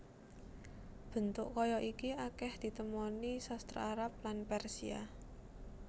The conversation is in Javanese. Bentuk kaya iki akèh ditemoni sastra Arab lan Persia